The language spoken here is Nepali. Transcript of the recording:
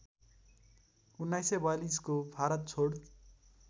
१९४२को भारत छोड